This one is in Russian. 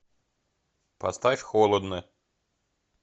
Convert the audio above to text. поставь холодно